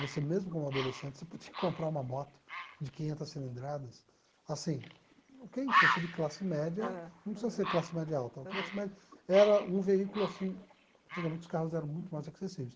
Você mesmo como adolescente, você podia comprar uma moto de quinhentas cilindradas, assim, quem fosse de classe média. Ãh. Não precisa ser classe média alta, classe média era um veículo assim, antigamente os carros eram muito mais acessíveis.